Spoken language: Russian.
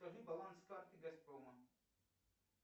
скажи баланс карты газпрома